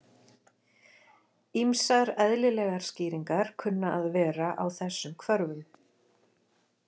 Ýmsar eðlilegar skýringar kunna að vera á þessum hvörfum.